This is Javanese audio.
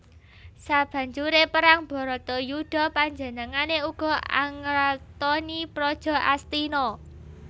Sabanjure perang Bratayuda panjenengane uga angratoni praja Astina